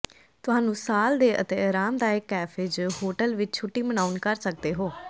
ਤੁਹਾਨੂੰ ਸਾਲ ਦੇ ਅਤੇ ਆਰਾਮਦਾਇਕ ਕੈਫੇ ਜ ਹੋਟਲ ਵਿਚ ਛੁੱਟੀ ਮਨਾਉਣ ਕਰ ਸਕਦੇ ਹੋ